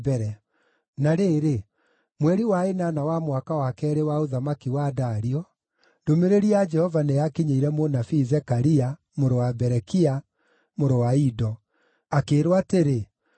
Na rĩrĩ, mweri wa ĩnana wa mwaka wa keerĩ wa ũthamaki wa Dario, ndũmĩrĩri ya Jehova nĩyakinyĩire mũnabii Zekaria, mũrũ wa Berekia, mũrũ wa Ido, akĩĩrwo atĩrĩ: